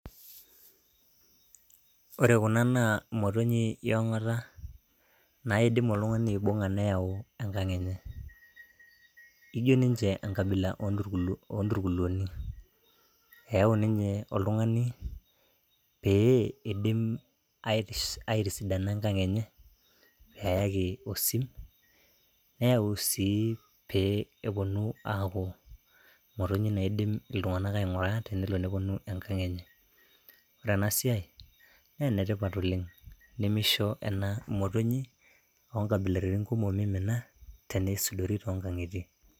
Ore kuna naa motonyi e onkata naidim oltung'ani aibung'a neyau enkang' enye, ijo ninje enkabila o nturkuluni eeu ninye oltung'ani pee idim aitiss aitisidana enkang' enye, keyaki osim, neyau sii pee eponu aaku motonyik naidim iltung'anak aing'ura tenelo neponu enkang' enye. Ore ena siai naa enetipat oleng' nemisho ena motonyik o nkabilaritin kumok mimina tenisudori too nkang'itie.